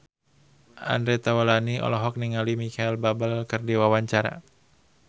Andre Taulany olohok ningali Micheal Bubble keur diwawancara